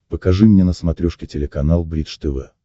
покажи мне на смотрешке телеканал бридж тв